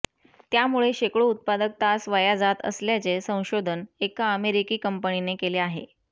त्यामुळे शेकडो उत्पादक तास वाया जात असल्याचे संशोधन एका अमेरिकी कंपनीने केले आहे